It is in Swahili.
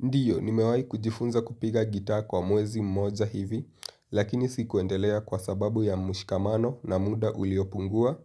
Ndiyo, nimewai kujifunza kupiga gitaa kwa mwezi mmoja hivi, lakini sikuendelea kwa sababu ya mshikamano na muda uliopungua.